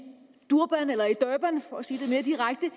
durban for at sige det mere direkte